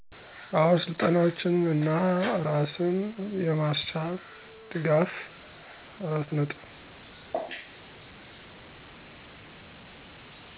አዎ! ስልጠናዎችን እና እራስን የማስቻል ድጋፍ።